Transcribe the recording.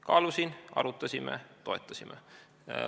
Kaalusin, arutasime, toetasime.